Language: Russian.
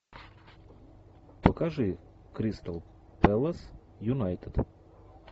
покажи кристал пэлас юнайтед